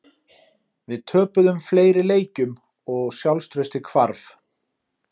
Við töpuðum fleiri leikjum og sjálfstraustið hvarf.